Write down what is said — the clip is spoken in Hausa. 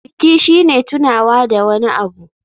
Biki shine tunawa da wani abu.